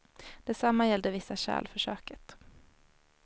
Detsamma gällde vissa kärl för köket.